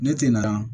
Ne tɛ na